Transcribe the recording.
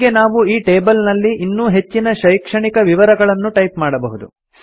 ಹೀಗೆ ನಾವು ಈ ಟೇಬಲ್ ನಲ್ಲಿ ಇನ್ನೂ ಹೆಚ್ಚಿನ ಶೈಕ್ಷಣಿಕ ವಿವರಗಳನ್ನು ಟೈಪ್ ಮಾಡಬಹುದು